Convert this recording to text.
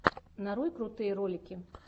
нарой крутые ролики